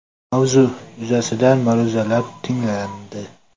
Mavzu yuzasidan ma’ruzalar tinglandi.